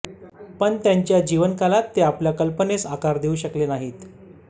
पण त्यांच्या जीवनकालात ते आपल्या कल्पनेस आकार देऊ शकले नाहीत